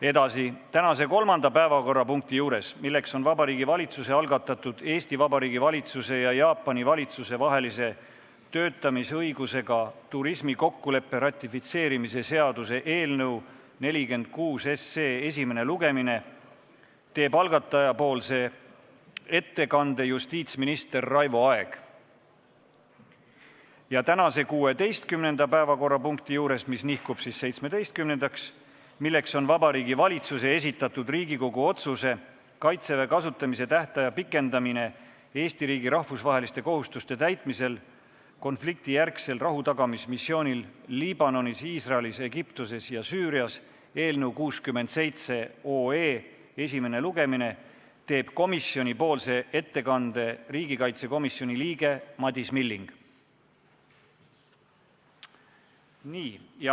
Edasi, tänase kolmanda päevakorrapunkti juures, milleks on Vabariigi Valitsuse algatatud Eesti Vabariigi valitsuse ja Jaapani valitsuse vahelise töötamisõigusega turismi kokkuleppe ratifitseerimise seaduse eelnõu esimene lugemine, teeb algataja nimel ettekande justiitsminister Raivo Aeg ja tänase 16. päevakorrapunkti juures, mis nihkub siis 17-ndaks ja milleks on Vabariigi Valitsuse esitatud Riigikogu otsuse "Kaitseväe kasutamise tähtaja pikendamine Eesti riigi rahvusvaheliste kohustuste täitmisel konfliktijärgsel rahutagamismissioonil Liibanonis, Iisraelis, Egiptuses ja Süürias" eelnõu esimene lugemine, teeb komisjoni nimel ettekande riigikaitsekomisjoni liige Madis Milling.